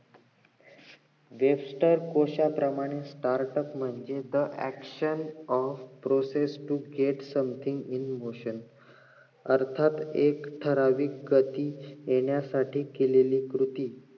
जेष्ठ कोशाप्रमाणे startup म्हणजे the action of process to gate something in motion अर्थात एक ठराविक गती येणासाठी केलेलं कृती